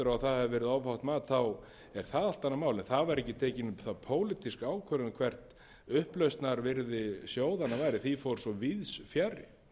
þá er það allt annað mál en það var ekki tekin um það pólitísk ákvörðun hvert upplausnarvirði sjóðanna væri því fór svo víðs fjarri þannig að